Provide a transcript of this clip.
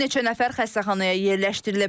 Bir neçə nəfər xəstəxanaya yerləşdirilib.